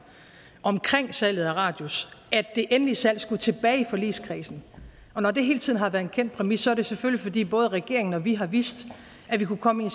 omkring salget af radius at det endelige salg skulle tilbage i forligskredsen og når det hele tiden har været en kendt præmis er det selvfølgelig fordi både regeringen og vi har vidst at vi kunne komme i